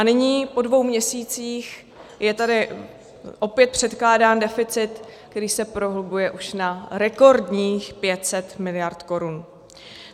A nyní, po dvou měsících, je tady opět předkládán deficit, který se prohlubuje už na rekordních 500 miliard korun.